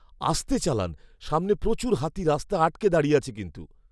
আস্তে চালান। সামনে প্রচুর হাতি রাস্তা আটকে দাঁড়িয়ে আছে কিন্তু।